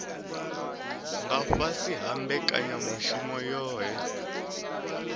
nga fhasi ha mbekanyamushumo yohe